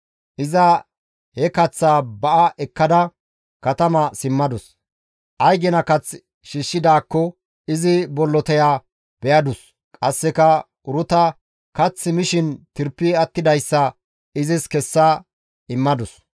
Iza he kaththaa ba7a ekkada katama simmadus; ay gina kath shiishshidaakko izi bolloteya be7adus; qasseka Uruta kase mishin tirpi attidayssa izis kessa immadus.